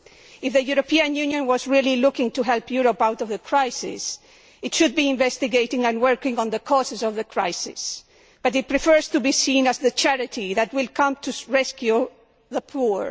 If the European Union was really looking to help Europe out of the crisis, it should be investigating and working on the causes of the crisis, but it prefers to be seen as the charity that will come to rescue the poor.